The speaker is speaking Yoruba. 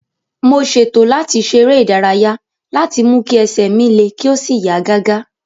mo ṣètò láti ṣe eré ìdárayá láti mú kí ẹsẹ̀ mi le kí ó sì yá gágá